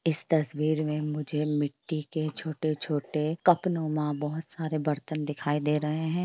इस तस्वीर मे मुझे मिट्टी के छोटे-छोटे बहुत सारे बर्तन दिखाई दे रहे हैं ।